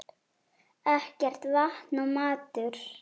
Ekkert vatn og matur.